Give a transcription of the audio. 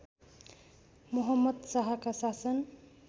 मोहम्मद शाहका शासन